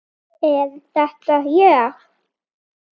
Er þetta ég!?